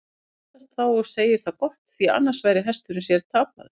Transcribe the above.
Hann mildast þá og segir það gott, því annars væri hesturinn sér tapaður.